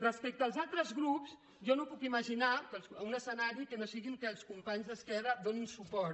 respecte als altres grups jo no puc em imaginar un escenari que no sigui que els companys d’esquerra hi donin suport